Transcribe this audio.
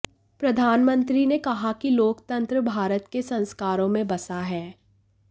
प्रधानमंत्री ने कहा कि लोकतंत्र भारत के संस्कारों में बसा है